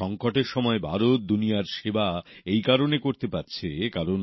সঙ্কটের সময় ভারত দুনিয়ার সেবা এই কারণে করতে পারছে কারণ